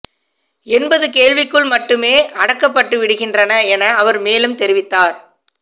என்பது கேள்விக்குள் மட்டுமே அடக்கப்பட்டு விடுகின்றன என அவர் மேலும் தெரிவித்தார்